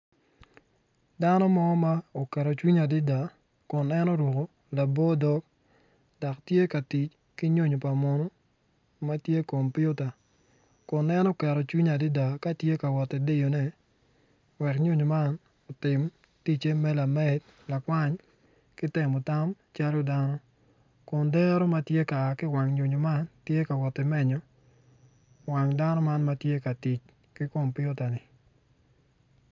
Dano mo ma oketo cwinye adada kun en oruko labor dog dok tye ka tic ki nyonyo pa munu matye kompiuta en oketo cwinye adada katye ka wot i diyo ne wel nyonyo man otim ticce me lamed lakwany ki timo tango calo dano kun dero matye ka aa ki kom nyonyo man tye ka wot i menyo wang dano man matye ka tic ki kompiuta ni.